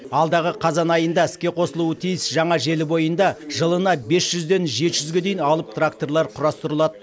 алдағы қазан айында іске қосылуы тиіс жаңа желі бойында жылына бес жүзден жеті жүзге дейін алып тракторлар құрастырылады